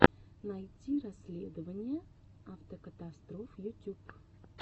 найти расследования авикатастроф ютюб